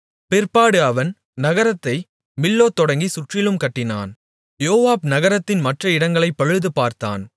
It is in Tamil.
பிற்பாடு அவன் நகரத்தை மில்லோ தொடங்கிச் சுற்றிலும் கட்டினான் யோவாப் நகரத்தின் மற்ற இடங்களைப் பழுதுபார்த்தான்